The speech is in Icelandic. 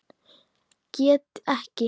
Get ekki.